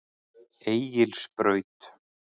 Egilsbraut